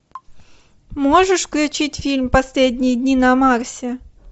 можешь включить фильм последние дни на марсе